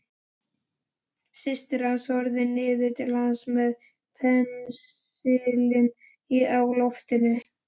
Systir hans horfði niður til hans með pensilinn á lofti.